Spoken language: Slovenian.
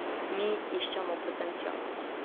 Mi iščemo potencial.